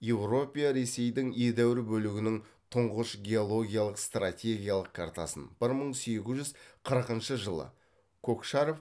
европия ресейдің едәуір бөлігінің тұңғыш геологиялық стратегиялық картасын бір мың сегіз жүз қырқыншы жылы кокшаров